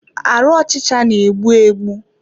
Arụ ọchịcha na-egbu egbu.